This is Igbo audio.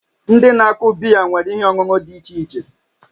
Ndị na-akụ biya nwere ihe ọṅụṅụ dị iche iche